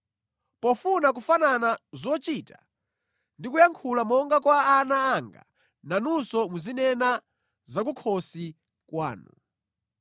Pofuna kufanana zochita ndi kuyankhula monga kwa ana anga, nanunso muzinena za kukhosi kwanu.